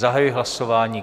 Zahajuji hlasování.